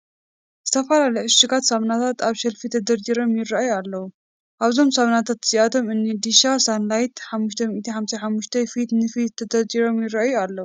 ዝተፈላለዩ ዕሹጋት ሳሙናታት ኣብ ሸልፍ ተደርዲሮም ይርአዩ ኣለዉ፡፡ ኣብዞም ሳሙናታት እዚኣቶም እኒ ዲሻ፣ ሳንላይት፣ 555 ፊት ንፊት ተደርዲሮም ይርኣዩ ኣለዉ፡፡